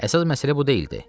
Əsas məsələ bu deyildi.